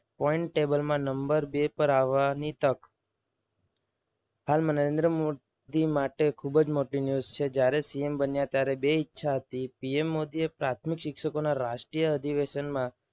point table માં number બે પર આવવાની તક. હાલ મને નરેન્દ્ર મોદી માટે ખૂબ જ મોટી news છે. જ્યારે CM બને ત્યારે બે ઈચ્છા હતી. PM મોદીએ પ્રાથમિક શિક્ષકોના રાષ્ટ્રીય અધિવેશનમાં